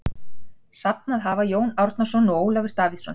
Safnað hafa Jón Árnason og Ólafur Davíðsson.